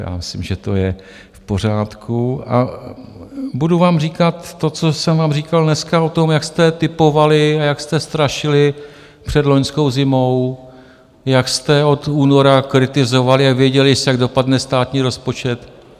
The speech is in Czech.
Já myslím, že to je v pořádku a budu vám říkat to, co jsem vám říkal dneska o tom, jak jste tipovali a jak jste strašili před loňskou zimou, jak jste od února kritizovali a věděli, jak dopadne státní rozpočet.